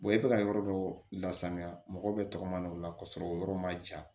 e bɛ ka yɔrɔ dɔ lasanuya mɔgɔ bɛ tɔgɔma o la ka sɔrɔ o yɔrɔ ma ja